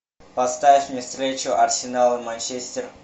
поставь мне встречу арсенал и манчестер